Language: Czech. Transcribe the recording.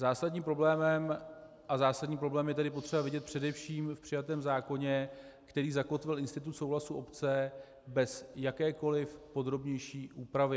Zásadní problém je tedy potřeba vidět především v přijatém zákoně, který zakotvil institut souhlasu obce bez jakékoli podrobnější úpravy.